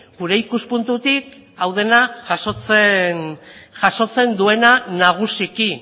gure ikuspuntutik hau dena jasotzen duena nagusiki